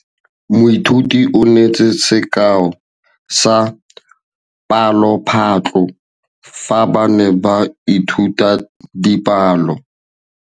Moithuti o neetse sekaô sa palophatlo fa ba ne ba ithuta dipalo.